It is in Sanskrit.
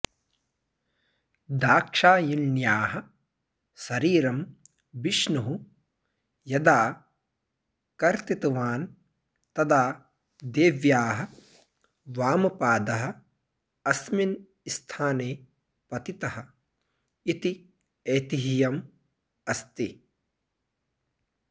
दाक्षायिण्याः शरीरं विष्णुः यदा कर्तितवान् तदा देव्याः वामपादः अस्मिन् स्थाने पतितः इति ऐतिह्यम् अस्ति